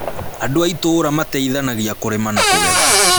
Andũ a itũra mateithanagia kũrĩma na kũgetha